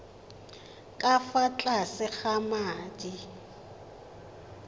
ka fa tlase ga madi